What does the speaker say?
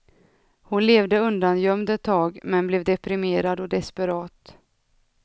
Hon levde undangömd ett tag, men blev deprimerad och desperat.